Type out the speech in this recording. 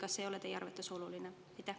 Kas see ei ole teie arvates oluline?